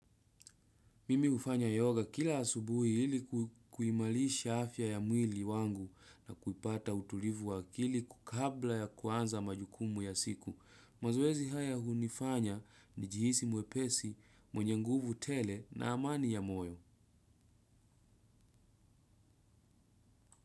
Mimi hufanya yoga kila asubuhi hili kuimarisha afya ya mwili wangu na kupata utulivu wa kili kabla ya kuanza majukumu ya siku. Mazoezi haya hunifanya ni jihisi mwepesi mwenye nguvu tele na amani ya moyo.